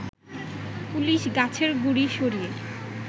police গাছের গুড়ি সরিয়ে